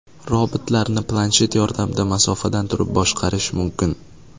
Robotlarni planshet yordamida masofadan turib boshqarish mumkin.